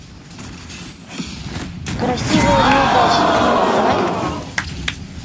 красивая неудачница поставь